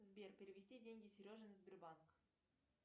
сбер перевести деньги сереже на сбербанк